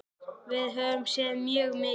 Við höfum séð mjög mikið.